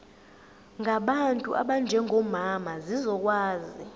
ngabantu abanjengomama zizokwazi